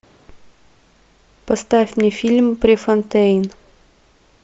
поставь мне фильм префонтейн